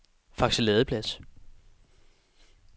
Fakse Ladeplads